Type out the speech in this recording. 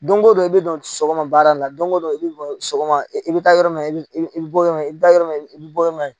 Don o don i bɛ don sɔgɔma baara nin la don o don i bɛ sɔgɔma i bɛ taa yɔrɔ min na i bɛ bɔ yɔrɔ min na i i bɛ taa yɔrɔ min na i i bɛ bɔ